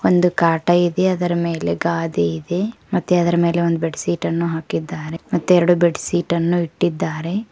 ಒಂದು ಕಾಟಾ ಇದೆ ಅದರ ಮೇಲೆ ಗಾದಿ ಇದೆ ಮತ್ತೆ ಅದರ ಮೇಲೆ ಒಂದ ಬೆಡಶೀಟ್ ಅನ್ನು ಹಾಕಿದ್ದಾರೆ ಮತ್ತೆ ಎರಡು ಬೆಡಶೀಟ್ ಅನ್ನು ಇಟ್ಟಿದಾರೆ.